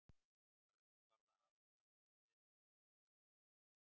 Örn varð að hafa sig allan við svo að hann sofnaði ekki.